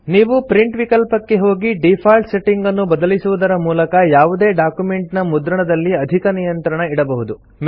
ನೀವು ಪ್ರಿಂಟ್ ವಿಕಲ್ಪಕ್ಕೆ ಹೋಗಿ ಡೀಫಾಲ್ಟ್ ಸೆಟ್ಟಿಂಗ್ ಅನ್ನು ಬದಲಿಸುವುದರ ಮೂಲಕ ಯಾವುದೇ ಡಾಕ್ಯುಮೆಂಟ್ ನ ಮುದ್ರಣದಲ್ಲಿ ಅಧಿಕ ನಿಯಂತ್ರಣ ಇಡಬಹುದು